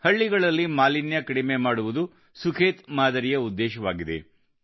ಹಳ್ಳಿಗಳಲ್ಲಿ ಮಾಲಿನ್ಯ ಕಡಿಮೆ ಮಾಡುವುದು ಸುಖೇತ್ ಮಾದರಿಯ ಉದ್ದೇಶವಾಗಿದೆ